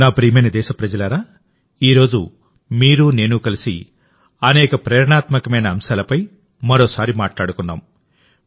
నా ప్రియమైన దేశప్రజలారాఈ రోజు మీరు నేను కలిసి అనేక ప్రేరణాత్మకమైన అంశాలపై మరోసారి మాట్లాడుకున్నాం